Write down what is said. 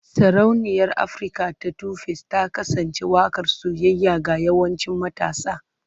Sarauniyar Afirka ta 2face ta kasance waƙar soyayya ga yawancin matasa.